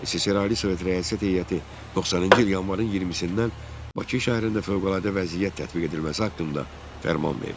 SSR Ali Sovet Rəyasət Heyəti 90-cı il yanvarın 20-dən Bakı şəhərində fövqəladə vəziyyət tətbiq edilməsi haqqında fərman verdi.